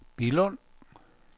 Billund